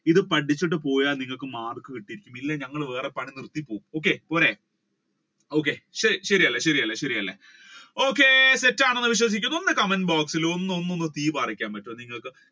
ഇത് പഠിച്ചിട്ട് പോയാൽ നിങ്ങൾക്ക് മാർക്ക് കിട്ടിയിരിക്കും ഇല്ലങ്കിൽ ഞങ്ങൾ പണി നിർത്തി പോകും okay പോരെ okay ശരിയല്ലേ ശരിയല്ലേ ശരിയല്ലേ okay set ആണെന്ന് വിശ്വസിക്കുന്നു. ഒന്ന് comment box ഇൽ ഒന്ന് ഒന്ന് തീ പാറിക്കാൻ പറ്റോ നിങ്ങൾക്ക്